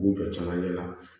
U jɔ camancɛ la